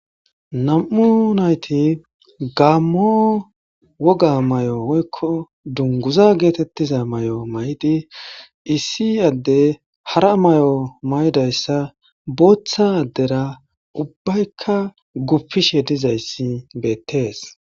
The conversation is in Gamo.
Nam'u nayti gammo woga may7o woykko dunguza geetettiza may7o may7di issi adde hara may7o may7idayssa booththa addera ubbaykka guppishe dizayssi beettees